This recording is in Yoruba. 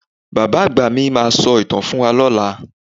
Bàbá àgbà mi máa sọ ìtàn fún wa lọ́la.